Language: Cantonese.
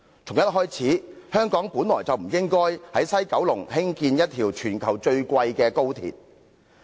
從一開始，香港便不應在西九龍興建一條全球最昂貴的高鐵。